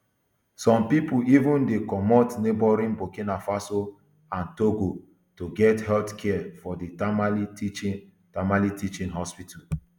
some pipo even dey comot neighbouring burkina faso and togo to get healthcare for di tamale teaching tamale teaching hospital